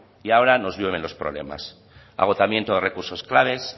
y ahora nos llueven los problemas agotamiento de recursos claves